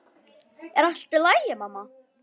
Er allt í lagi, mamma?